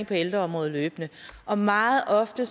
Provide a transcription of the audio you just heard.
på ældreområdet og meget ofte